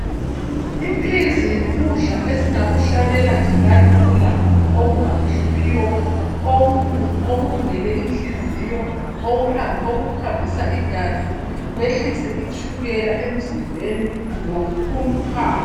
Iphizi yikudla esingakuhlanyela nje kalula okungahluphiyo okulungele inhliziyo, okuhambisa igazi kwehlise itshukela emzimbeni lokukhuluphala.